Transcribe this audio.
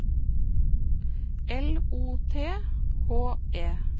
L O T H E